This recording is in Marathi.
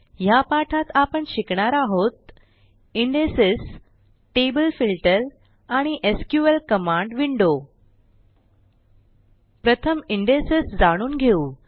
ह्या पाठात आपण शिकणार आहोत इंडेक्सेस टेबल फिल्टर आणि एसक्यूएल कमांड विंडो प्रथम इंडेक्सेस जाणून घेऊ